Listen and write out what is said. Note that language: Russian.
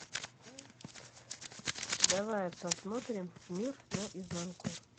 давай посмотрим мир наизнанку